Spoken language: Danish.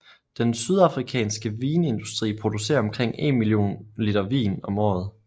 Den sydafrikanske vinindustri producerer omkring en million liter vin om året